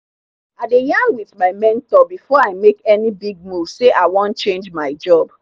i dey yarn with my mentor before i make any big move say i wan change my job.